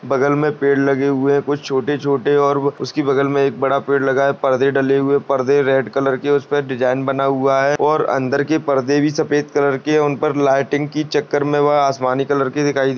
बगल मे पेड़ लगे हुए है कुछ छोटे-छोटे और उसके बगल मे बड़ा पेड लगा है पर्दे डले हुए है परदे रेड कलर के है उसपे डिज़ाइन बना हुआ है और अंदर के परदे भी सफेद कलर के उनके लाइटिंग की चक्कर मे व आसमानी कलर के दिखाई--